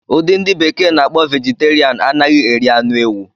Udi ndi bekee n'akpo Vegeterian anaghị eri anụ ewu